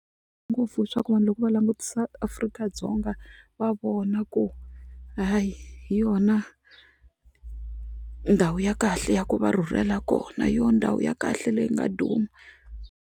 Ngopfu hi swaku vanhu loko va langutisa Afrika-Dzonga va vona ku hayi hi yona ndhawu ya kahle ya ku va rhurhela kona yo ndhawu ya kahle leyi nga duma.